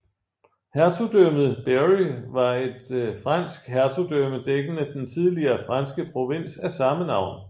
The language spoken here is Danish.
Hertugdømmet Berry var et fransk hertugdømme dækkende den tidligere franske provins af samme navn